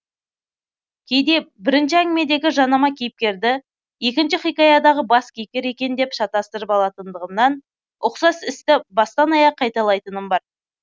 кейде бірінші әңгімедегі жанама кейіпкерді екінші хикаядағы бас кейіпкер екен деп шатастырып алатындығымнан ұқсас істі бастан аяқ қайталайтыным бар